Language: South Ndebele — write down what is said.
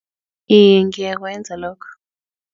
Iye, ngiyakwenza lokho.